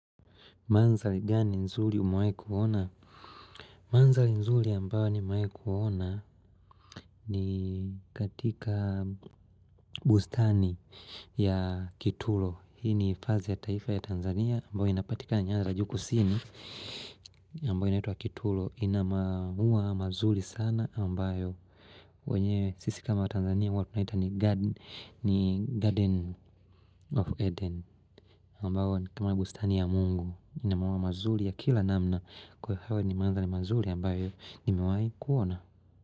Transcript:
Mandhari gani nzuri umewahi kuona? Mandhari nzuri ambayo nimewahikuona ni katika bustani ya Kituro. Hii ni hifadhi ya taifa ya Tanzania ambayo inapatika na nyara za juu kusini. Ambayo inaitwa Kituro ina mauwa mazuri sana ambayo. Sisi kama watanzania huwa tunaita ni Garden of Eden. Ambao ni kama bustani ya mungu ina mauwa mazuri ya kila namna Kwa hivo hayo ni mandhari mazuri ambayo nimewai kuona.